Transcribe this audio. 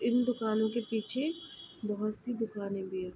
इन दुकानों के पीछे बहोत सी दुकाने भी हैं।